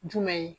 Jumɛn ye